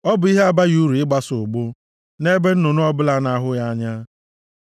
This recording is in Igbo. Ọ bụ ihe abaghị uru ịgbasa ụgbụ, nʼebe nnụnụ ọbụla na-ahụ ya anya.